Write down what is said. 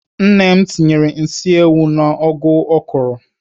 Nne m tinyere nsị ewu n'ụgụ ọ kụrụ